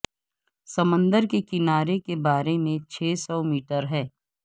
سمندر کے کنارے کے بارے میں چھ سو میٹر ہے